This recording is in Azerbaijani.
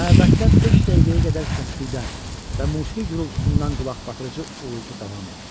Məbəddə beş dəqiqəyə qədər səsküydən və musiqi gürultusundan qulaqbatırıcı uğultu davam etdi.